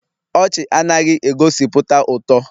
Ọchị anaghị egosipụta ụtọ